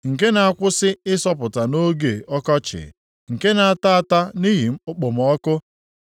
Nke na-akwụsị ịsọpụta nʼoge ọkọchị, nke na-ata ata nʼihi okpomọkụ.